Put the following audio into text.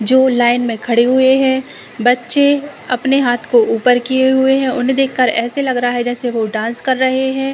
जो लाइन में खड़े हुए हैं। बच्चे अपने हाँथ को ऊपर किये हुए हैं। उन्हें देखकर ऐसे लग रहा है जैसे वो डांस कर रहे हैं।